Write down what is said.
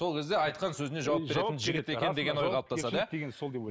сол кезде айтқан сөзіне жауап беретін жігіт екен деген ой қалыптасады иә